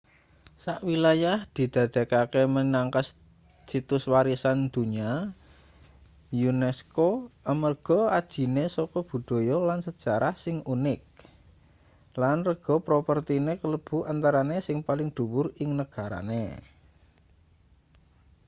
sak wilayah didadekake minangka situs warisan donya unesco amarga ajine saka budhaya lan sejarah sing unik lan rega propertine kalebu antarane sing paling dhuwur ing negarane